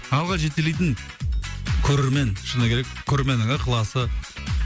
алға жетелейтін көрермен шыны керек көрерменнің ықыласы